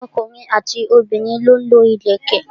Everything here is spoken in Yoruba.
ọkùnrin àti obìnrin lọ ń lo ìlẹ̀kẹ̀.